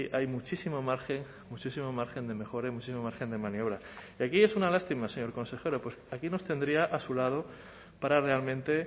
hay muchísimo margen muchísimo margen de mejora y muchísimo margen de maniobra y aquí es una lástima señor consejero pues aquí nos tendría a su lado para realmente